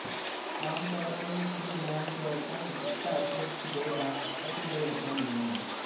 ਆਮ ਤੌਰ ਤੇ ਹਿਊਮੌਇਡ ਰੋਬੋਟਾਂ ਵਿੱਚ ਧੜ ਸਿਰ ਦੋ ਬਾਹਾਂ ਅਤੇ ਦੋ ਲੱਤਾਂ ਹੁੰਦੀਆਂ ਹਨ